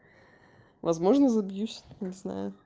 возможно забьюсь не знаю